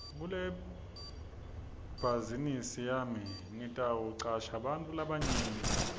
kulebhazinisi yami ngitawucasha bantfu labancane